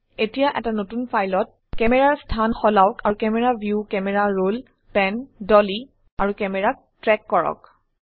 এতিয়া এটা নতুন ফাইলত ক্যামেৰাৰ স্থান সলাওক আৰু camera view camera roll pan dolly আৰু ক্যামেৰাক ট্ৰেক কৰক